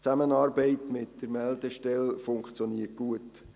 Die Zusammenarbeit mit der Meldestelle funktioniert gut.